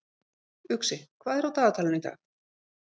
Uxi, hvað er á dagatalinu í dag?